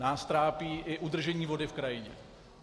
Nás trápí i udržení vody v krajině.